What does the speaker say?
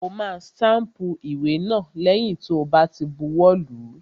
Ó ma stámpù ìwé náà lẹ́yìn tó bá ti buwọ́ lùú.